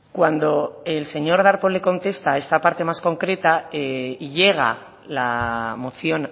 cuando el señor darpón le contesta esa parte más concreta y llega la moción